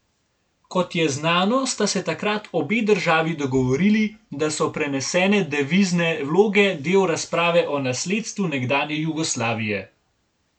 Kot je znano, sta se takrat obe državi dogovorili, da so prenesene devizne vloge del razprave o nasledstvu nekdanje Jugoslavije.